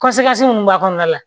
minnu b'a kɔnɔna la